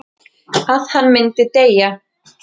Að hann myndi deyja.